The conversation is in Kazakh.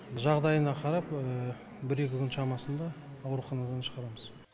жағдайына қарап бір екі күн шамасында ауруханадан шығарамыз